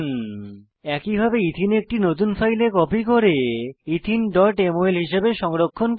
একইভাবে এথেনে ইথিন একটি নতুন ফাইলে কপি করে etheneমল হিসাবে সংরক্ষণ করব